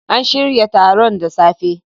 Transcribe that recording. An shirya taron da safe.